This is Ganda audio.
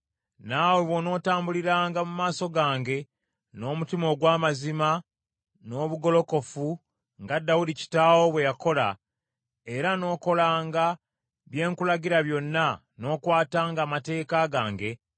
“Naawe bw’onootambuliranga mu maaso gange n’omutima ogw’amazima n’obugolokofu, nga Dawudi kitaawo bwe yakola, era n’okolanga bye nkulagira byonna, n’okwatanga amateeka gange,